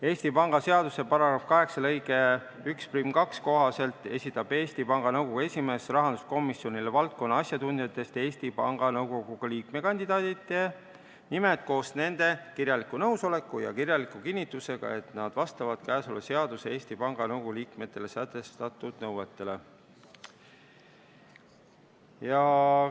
Eesti Panga seaduse § 8 lõike 12 kohaselt esitab Eesti Panga Nõukogu esimees rahanduskomisjonile valdkonna asjatundjatest Eesti Panga Nõukogu liikmekandidaatide nimed koos nende kirjaliku nõusolekuga ja kirjaliku kinnitusega, et nad vastavad käesolevas seaduses Eesti Panga Nõukogu liikmetele sätestatud nõuetele.